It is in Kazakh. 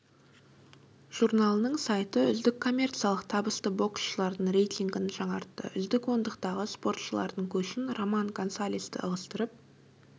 журналының сайты үздік коммерциялық табысты боксшылардың рейтингін жаңартты үздік ондықтағы спортшылардың көшін роман гонсалесті ығыстырып